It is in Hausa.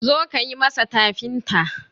zo ka yi masa tafinta!